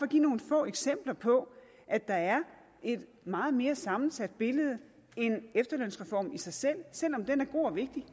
give nogle få eksempler på at der er et meget mere sammensat billede end efterlønsreformen i sig selv selv om den er god og vigtig